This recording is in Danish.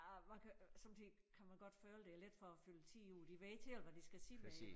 Ja man kan sommetider kan man godt føle det er lidt for at fylde tid ud de ved ikke helt hvad de skal sige med det